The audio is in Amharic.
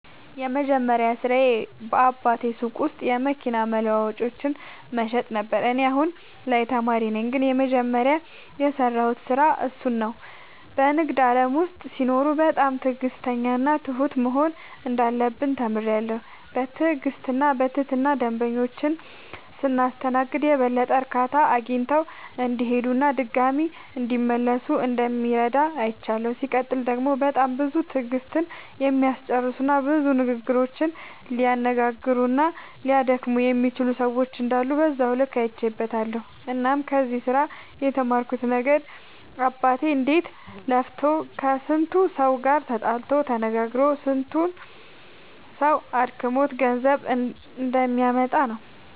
የመጀመሪያ ስራዬ በአባቴ ሱቅ ውስጥ የመኪና መለዋወጫዎችን መሸጥ ነበረ። እኔ አሁን ላይ ተማሪ ነኝ ግን የመጀመሪያ የሰራሁት ስራ እሱን ነው። በንግድ ዓለም ውስጥ ሲኖሩ በጣም ትዕግሥተኛና ትሁት መሆን እንዳለብን ተምሬያለሁ። በትዕግሥትና በትህትና ደንበኞቻችንን ስናስተናግድ የበለጠ እርካታ አግኝተው እንዲሄዱና ድጋሚም እንዲመለሱ እንደሚረዳ አይቻለሁ። ሲቀጥል ደግሞ በጣም ብዙ ትዕግሥትን የሚያስጨርሱና ብዙ ንግግሮችን ሊያነጋግሩና ሊያደክሙ የሚችሉ ሰዎች እንዳሉ በዛው ልክ አይቼበትበታለሁ። እናም ከዚህ ስራ የተማርኩት ነገር አባቴ እንዴት ለፍቶ ከስንቱ ሰው ጋር ተጣልቶ ተነጋግሮ ስንቱ ሰው አድክሞት ገንዘብ እንደሚያመጣ ነው።